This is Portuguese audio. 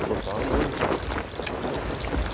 Eu gostava muito, não consegui.